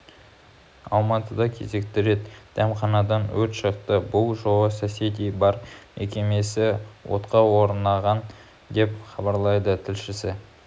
алматыда кезекті рет дәмханадан өрт шықты бұл жолы соседи бар мекемесі отқа оранған деп хабарлайды тілшісі